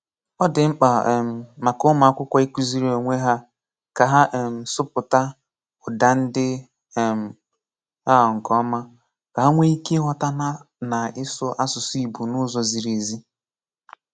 Ọ dị mkpa um maka ụmụ́akwụ̀kwọ ịkụ̀zìrì onwe hà ka hà um sụ̀pụ̀tà ụ́dá ndị um a nke ọma, ka hà nwee ike ịghọ̀ta na ìsụ asụ̀sụ́ Ìgbò n’ụ́zọ̀ zìrì ézì.